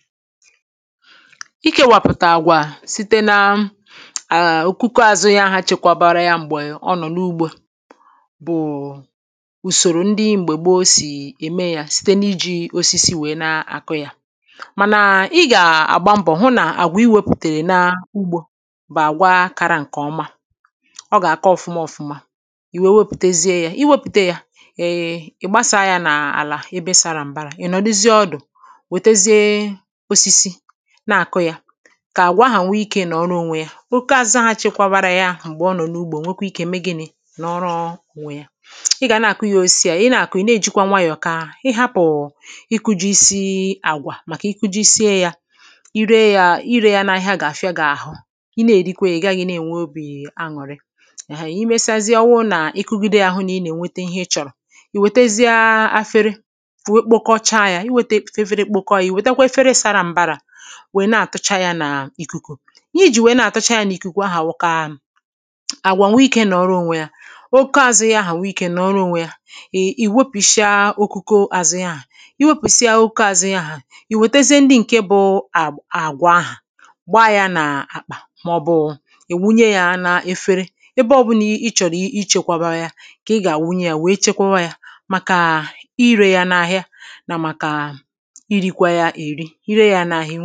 Ịkewàpụ̀ta àgwà site nà òkùkọ-̀àzụ ya, ha chekwebarakwa ya m̀gbè ọ nọ̀ n’ugbō bụ̀ ùsòrò ndị gbo si ème yā. Site nà ijī osisi wee nà-àkụ ya, mànà i gà-àgba mbọ̀ hụ nà àgwà i wèpùtèrè n’ugbō bụ̀ àgwà kara ǹkè ọma. Ọ ga-àka òfuma-òfuma i wee wepụ̀tēzie ya. Iwepùte ya, ịgbasàa ya n’àlà ebe sara m̀bara, ị̀ nọ̀duzie ọdụ̀ wètezie osisi na-àkụ ya, ka àgwà ahà nwee ikē nọ̀ọrọ ònwe ya. Òkùkò-àzụ chekwabarakwa ya m̀gbè ọ nọ̀ n’ugbō nwekwaa ikē mee gịnī? Nọ̀ọrọ ònwe ya. I gà nà-àkụ ya. Osisi à i na-àkụ, ị̀ na-ejìkwa nwayọ̀, ka ị hapụ̀ ikūjīsī àgwà, màkà ikujisìe ya, i ree ya, i rē ya n’ahịa ga-àfịà gị àhụ. I na-èríkwìe, ị̀ gaghī nà-ènwe obì aṅụ̀rị! Èhee! I mechazie, ọ wụrụ na ikukide ya, hụ nà ị nà-ènwete ihe i chọ̀rọ̀. I wètèzìa afere wee kpọkọchaa ya. Iwètè efere kpọkọ ya. Iwètèzìe efere sara m̀bara wé nà-àtụcha ya n’ìkùkù. Ihe ji wee nà-àtụcha ya n’ìkùkù ahà wụ̀ ka àgwà nwee ikē nọ̀ọrọ ònwe ya. Òkùkò-àzụ ahà nwee ikē nọ̀ọrọ ònwe ya. Iwepùchìa òkùkò-àzụ ya ahụ. Iwepùsị̀a òkùkò-àzụ ahụ. Iwètèziè ndị bụ̀ àgwà ahà, gbaa ya n’àkpà mà ọbụ̀ iwunye ya n’efere ebe ọ̀bụlà ị chọ̀rọ̀ ichēkwēbā ya. Ka ị gà-àwunye ya wee chekwebe ya màkà i rē ya n’ahị̀a nà màkà i rīkwā ya, e ri i riē ya n’ahị̀a.